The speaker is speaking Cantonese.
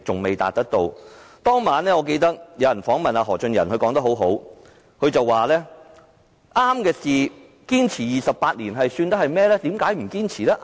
我記得當晚有人訪問何俊仁，他說得很好，他說對的事情，堅持28年又算得上是甚麼？